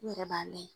N yɛrɛ b'a mɛn